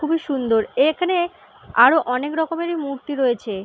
খুবই সুন্দর এ এখানে আরও অনেক রকমেরই মূর্তি রয়েছে ।